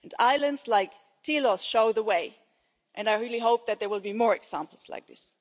be. Islands like Tilos show the way and I really hope that there will be more examples like